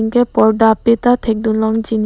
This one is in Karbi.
anke porda ape ta thek dun long ji.